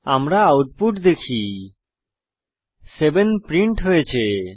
আমরা আউটপুট দেখি 7 প্রিন্ট হয়েছে